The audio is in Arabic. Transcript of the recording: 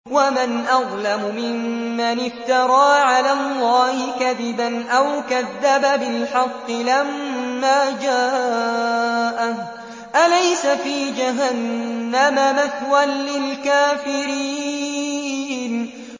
وَمَنْ أَظْلَمُ مِمَّنِ افْتَرَىٰ عَلَى اللَّهِ كَذِبًا أَوْ كَذَّبَ بِالْحَقِّ لَمَّا جَاءَهُ ۚ أَلَيْسَ فِي جَهَنَّمَ مَثْوًى لِّلْكَافِرِينَ